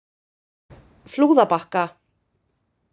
Flúðabakka